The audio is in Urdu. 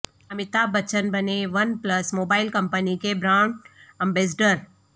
امیتابھ بچن بنے ون پلس موبائل کمپنی کے برانڈ ایمبیسڈر